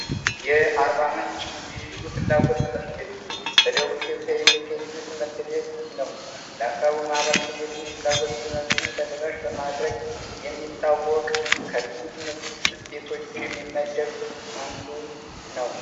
የአርባምንጭ ፍላጎት ትምህርት ቤት በደቡብ ኢትዮጵያ የሚካሄዱት ትምህርት ቤት ነው ፍላጎት ትምህርትን ተደራሽ በማድረግ የሚታወቅም ቤቶች የሚመደቡ አንዱ ነው